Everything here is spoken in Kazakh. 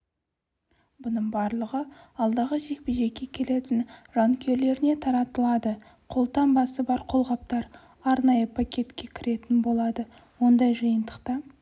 бұның барлығы алдағы жекпе-жекке келетін жанкүйерлеріне таратылады қолтаңбасы бар қолғаптар арнайы пакетке кіретін болады ондай жиынтықта